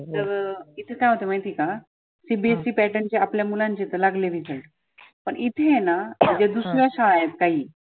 तर इथे काय होत महिती आहे का? ते CBSE pattern आपल्या मुलांचे तर लागले. पण इथे आहे ना ज्या दुसऱ्या शाळात